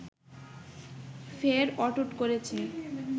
ফের অটুট করেছে